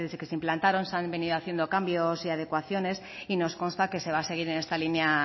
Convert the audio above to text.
que se implantaron se han venido haciendo cambios y adecuaciones y nos consta que se va a seguir en esta línea